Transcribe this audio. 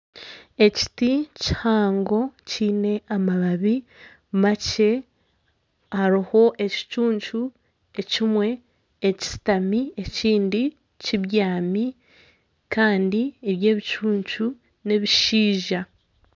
Ekiti kihango kiine amababi makye. Hariho ekicuncu ekimwe ekishutami ekindi kibyami. Kandi ebi ebicuncu n'ebishaija.